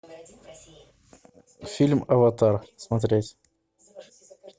фильм аватар смотреть